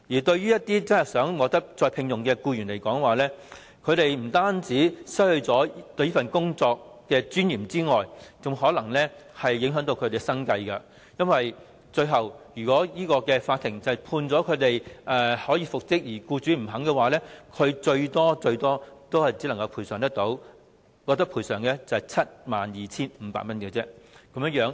對一些希望再次獲得聘用的僱員來說，解僱不但令他們失去工作的尊嚴，甚至會影響生計，因為到最後，如果法庭裁定他們能夠復職，但僱主不同意，他們最多只獲賠償 72,500 元。